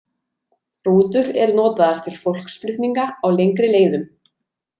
Rútur eru notaðar til fólksflutninga á lengri leiðum.